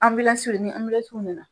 bi na